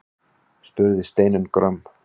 spurði Steinunn gröm.